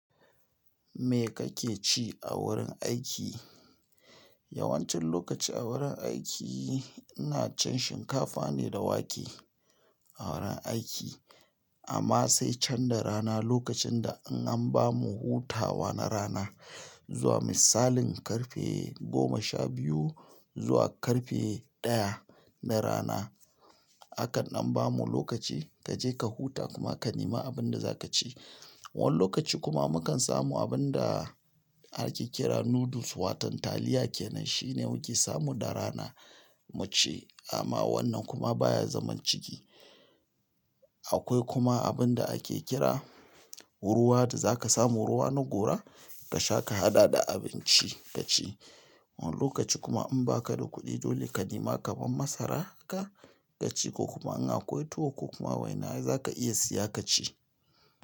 Me kake ci a wurin aiki? Yawancin lokaci a wurin aiki ina cin shinkafa ne da wake a wurin aiki amma sai can da rana lokacin da in an bamu hutawa na rana zuwa misalin karfe goma sha biyu zuwa karfe ɗaya na rana. Akan dan bamu lokaci kaje ka huta kuma ka nemi abunda zakaci. Wani lokaci kuma mukan samu abin da ake kira noodles watan taliya kenan shine muke samu da rana mu ci amma wannan kuma baya zaman ciki. Akwai kuma abin da ake kira Kowa da zaka samu ruwa na gora kasha ka hada da abinci kaci. Wani lokaci kuma in baka da kuɗi dole ka nema kaman masara haka ka ci ko kuma in akwai tuwo ko kuma waina zaka iya siya ka ci.